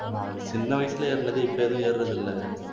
ஆஹ் சின்ன வயசுல ஏர்னது இப்ப எதுவும் ஏறுறது இல்லை